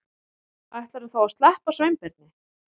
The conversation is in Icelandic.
Ætlarðu þá að sleppa Sveinbirni?